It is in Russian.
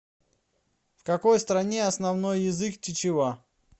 в какой стране основной язык чичева